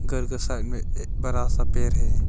घर का साइड में एक बड़ा सा पेर है।